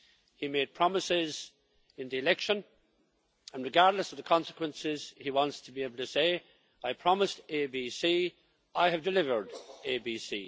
He made promises in the election and, regardless of the consequences, he wants to be able to say I promised ABC, I have delivered ABC'.